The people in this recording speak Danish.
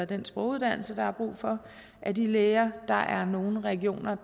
den sproguddannelse der er brug for af de læger der er nogle regioner